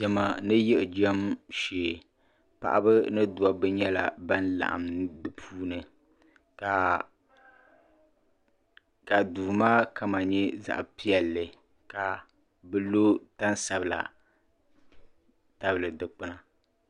Diɛma ni yiɣijɛm shee paɣiba ni dobba nyɛla ban laɣim di puuni ka duu maa kama nyɛ zaɣ'piɛlli ka bɛ lo tan'sabila tabili dukpuna.